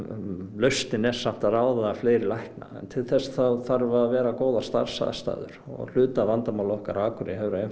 lausnin er samt að ráða fleiri lækna en til þess þurfa að vera góðar starfsaðstæður og hluti af vandamálinu okkar á Akureyri hefur